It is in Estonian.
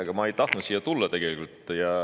Ega ma ei tahtnud siia tulla tegelikult.